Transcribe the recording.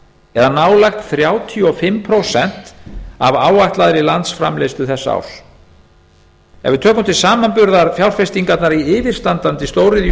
eða nálægt þrjátíu og fimm prósent af áætlaðri landsframleiðslu þessa árs ef við tökum til samanburðar fjárfestingarnar í yfirstandandi stóriðju